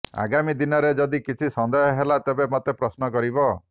ଆଗାମୀ ଦିନରେ ଯଦି କିଛି ସନ୍ଦେହ ହେଲା ତେବେ ମୋତେ ପ୍ରଶ୍ନ କରିବ